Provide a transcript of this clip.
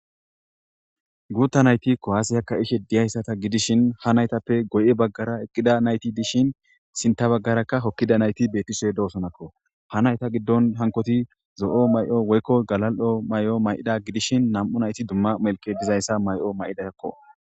Guta nayti kuwase ka'ishe diyaysa gidishin ha naytape guye bagara eqida natyti dishin sinta bagaraka hokidi betishe dosonakko ha nayta gidon hankoyti zo'o mayo woyko galalo mayo mayida gidishin nam'u nayta dumma melke diza mayo mayidako